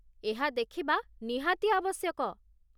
ଏହା ଦେଖିବା ନିହାତି ଆବଶ୍ୟକ।